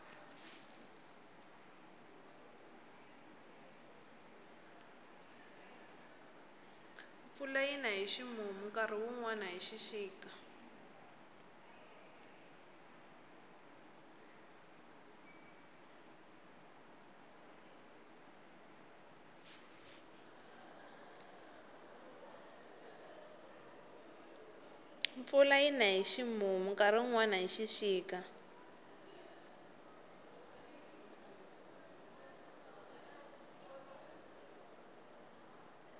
mpfula yina hi ximumu nkarhi wunwani hi xixika